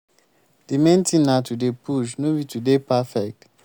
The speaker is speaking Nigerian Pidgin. di main thing na to dey push no be to dey perfect